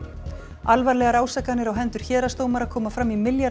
alvarlegar ásakanir á hendur héraðsdómara koma fram í milljarða